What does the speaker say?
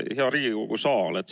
Hea Riigikogu saal!